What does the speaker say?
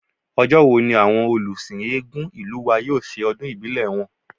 Ọjọ́ wo ní àwọn olùsìn Eégún ìlú wa yóò ṣe ọdún ìbílẹ̀ wọn?